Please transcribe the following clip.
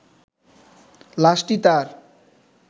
লাশটি তার